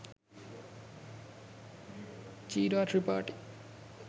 “Chira Tripathi “